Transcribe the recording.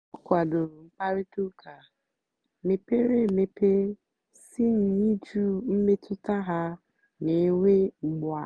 ọ kwàdòrò mkpáịrịtà ụ́ka mepèrè emepè sí n'ị̀jụ́ mmètụ́tà ha na-ènwè ùgbùà.